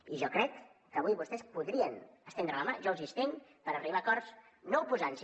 i jo crec que avui vostès podrien estendre la mà jo els hi estenc per arribar a acords no oposant s’hi